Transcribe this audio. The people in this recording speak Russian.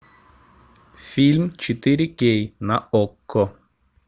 фильм четыре кей на окко